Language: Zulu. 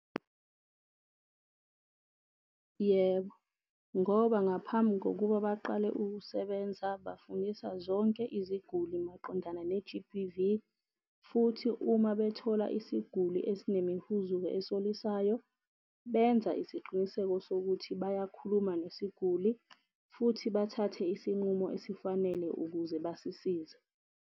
Yebo, ngoba ngaphambi kokuba baqale ukusebenza, bafundisa zonke iziguli maqondana ne-G_B_V. Futhi uma bethola isiguli esine mihuzuko esolisayo, benza isiqiniseko sokuthi bayakhuluma nesiguli futhi bathathe isinqumo esifanele ukuze basisize.